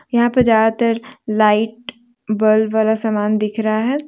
यहां पे ज्यादातर लाइट बल्ब वाला समान दिख रहा है।